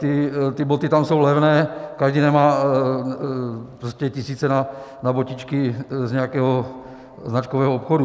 Ty boty tam jsou levné, každý nemá tisíce na botičky z nějakého značkového obchodu.